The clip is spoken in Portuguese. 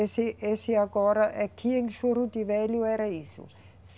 Esse, esse agora aqui em Juruti Velho era isso.